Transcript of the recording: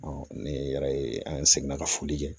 ne yɛrɛ ye an seginna ka foli kɛ